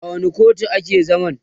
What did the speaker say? a wani kotu a ke zaman?